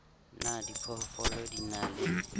na diphoofolo di na le